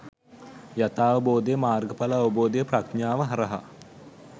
යථාවබෝධය, මාර්ගඵල අවබෝධය ප්‍රඥාව හරහා